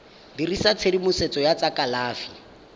dirisa tshedimosetso ya tsa kalafi